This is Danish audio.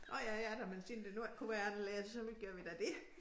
Nåh ja ja da men siden det nu ikke kunne være anderledes så gør vi da det